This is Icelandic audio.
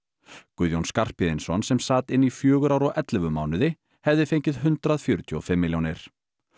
Guðjón Skarphéðinsson sem sat inni í fjögur ár og ellefu mánuði hefði fengið hundrað fjörutíu og fimm milljónir